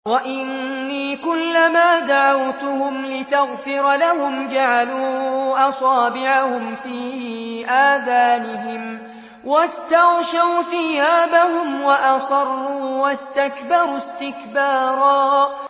وَإِنِّي كُلَّمَا دَعَوْتُهُمْ لِتَغْفِرَ لَهُمْ جَعَلُوا أَصَابِعَهُمْ فِي آذَانِهِمْ وَاسْتَغْشَوْا ثِيَابَهُمْ وَأَصَرُّوا وَاسْتَكْبَرُوا اسْتِكْبَارًا